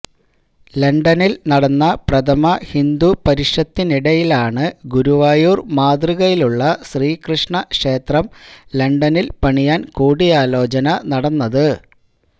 ലണ്ടനില് നടന്ന പ്രഥമ ഹിന്ദു പരിഷത്തിനിടയിലാണ് ഗുരുവായൂര് മാതൃകയിലുള്ള ശ്രീകൃഷ്ണ ക്ഷേത്രം ലണ്ടനില് പണിയാന് കൂടിയാലോചന നടന്നത്